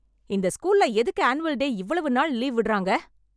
இந்த ஸ்கூல்ல எதுக்கு ஆனுவல் டே இவ்வளவு நாள் லீவு விடுறாங்க?